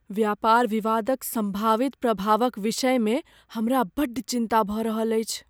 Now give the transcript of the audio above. व्यापार विवादक सम्भावित प्रभावक विषयमे हमरा बड्ड चिन्ता भऽ रहल अछि।